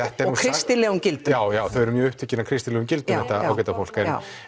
kristilegum gildum já já þau eru mjög upptekin af kristilegum gildum þetta ágæta fólk